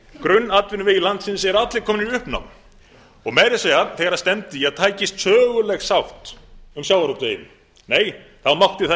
grunnatvinnuvegir landsins eru allir komnir í uppnám og meira að segja þegar stefndi í að tækist söguleg sátt um sjávarútveginn nei þá mátti